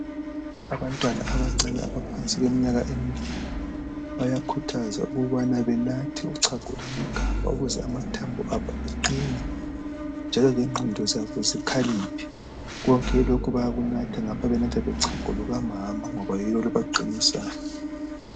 Abantwana abancane abangaphansi kweminyaka emibili, bayakhuthazwa ukubana banathe uchago lwamagabha ukuze amathambo abo aqine, njalo lengqondo zabo zikhaliphe, Konke lokhu bayakunatha, ngapha benatha lochago lukamama ngoba yilo olubaqinisayo.